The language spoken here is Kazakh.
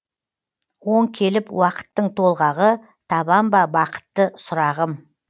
оң келіп уақыттың толғағы табам ба бақытты сұрағым